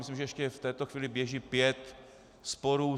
Myslím, že ještě v této chvíli běží pět sporů.